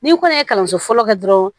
Ni kɔni ye kalanso fɔlɔ kɛ dɔrɔn